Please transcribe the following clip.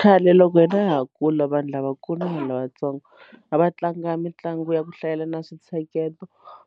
Khale loko hina ha ha kula vanhu lavakulu na vanhu lavatsongo a va tlanga mitlangu ya ku hlayelana swi ntsheketo